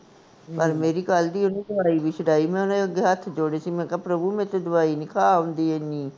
ਪਰ ਮੇਰੀ ਕਲ ਦੀ ਓਹਨੇ ਦਵਾਈ ਵੀ ਛਡਾਈ, ਮੈਂ ਓਹਦੇ ਅੱਗੇ ਹੱਥ ਜੋੜੇ ਸੀ, ਮੈਂ ਕਿਹਾ ਪ੍ਰਭੂ ਮੇਰੇ ਤੋਂ ਦਵਾਈ ਨੀ ਖਾ ਹੁੰਦੀ ਏਨੀ